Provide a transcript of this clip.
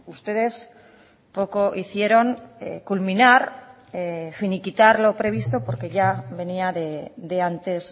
ustedes poco hicieron culminar finiquitar lo previsto porque ya venía de antes